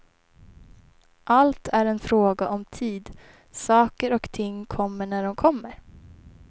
Allt är en fråga om tid, saker och ting kommer när de kommer.